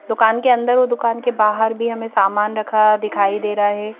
दुकान के अंदर और दुकान के बाहर भी हमे सामान रखा दिखाई दे रहा है।